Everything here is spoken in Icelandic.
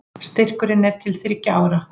Styrkurinn er til þriggja ára